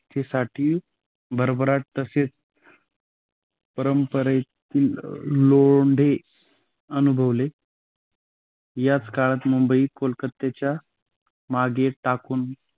त्यासाठी भरभराट तसेच परंपरेतील लोंढे अनुभवले. याच काळात मुंबई कोलकत्याच्या मागे टाकून